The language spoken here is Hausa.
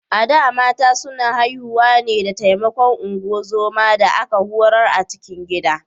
A da, mata suna haihuwa ne da taimakon ungozoma da aka horar a cikin gida.